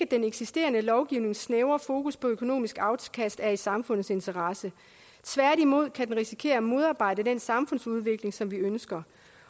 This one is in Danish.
den eksisterende lovgivnings snævre fokus på økonomisk afkast er i samfundets interesse tværtimod kan det risikere at modarbejde den samfundsudvikling som vi ønsker